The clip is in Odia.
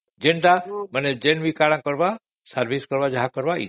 ଯାହା ବି କରିବାର କଥା ମାନେ service କରିବା ବି ଏଇଠି